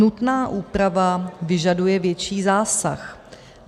Nutná úprava vyžaduje větší zásah.